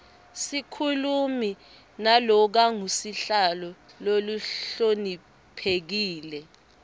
sikhulumi nalokangusihlalo lohloniphekile